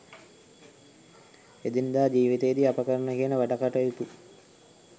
එදිනෙදා ජීවිතයේදී අප කරන කියන වැඩකටයුතු